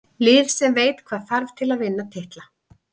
Lið sem veit hvað þarf til að vinna titla.